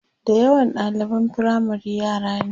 da yawa ɗaliban firamare yara ne